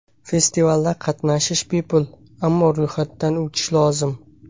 Festivalda qatnashish bepul, ammo ro‘yxatdan o‘tish lozim.